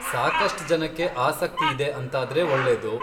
ಸಾಕಷ್ಟ್ ಜನಕ್ಕೆ ಆಸಕ್ತಿ ಇದೆ ಅಂತಾದ್ರೆ ಒಳ್ಳೇದು.